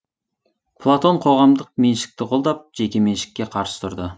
платон қоғамдық меншікті қолдап жеке меншікке қарсы тұрды